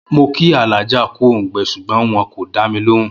Mo̩ kí Àlájà kú òǹgbe̩ s̩ùgbón wo̩n kò dá mi lòhùn